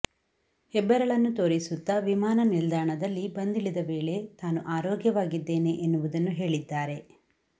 ಹೆಬ್ಬೆರಳನ್ನು ತೋರಿಸುತ್ತಾ ವಿಮಾನ ನಿಲ್ದಾಣದಲ್ಲಿ ಬಂದಿಳಿದ ವೇಳೆ ತಾನು ಆರೋಗ್ಯವಾಗಿದ್ದೇನೆ ಎನ್ನುವುದನ್ನು ಹೇಳಿದ್ದಾರೆ